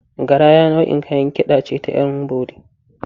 Garaya nau’in Kayan Kida ce at ‘Yanbori.